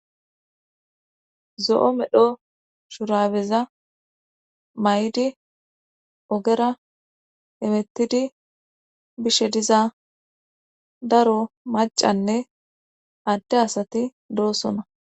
Zo'o medho shurabeza may'di oogera hemettidii bishe diza daro macanne adde asati doosona